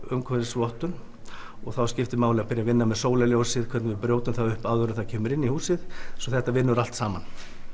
umhverfisvottun þá skiptir máli að byrja að vinna með sólarljósið hvernig við brjótum það upp áður en það kemur inn í húsið svo þetta vinnur allt saman